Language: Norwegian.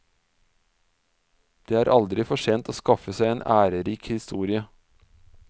Det er aldri for sent å skaffe seg en ærerik historie.